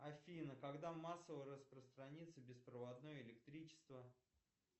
афина когда массово распространится беспроводное электричество